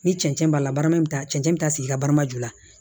Ni cɛncɛn b'a la baraman bɛ taa cɛncɛn be taa sigi i ka baara ju la